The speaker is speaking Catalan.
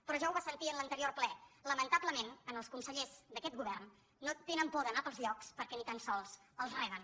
però ja ho va sentir en l’anterior ple la·mentablement els consellers d’aquest govern no tenen por d’anar pels llocs perquè ni tan sols els reben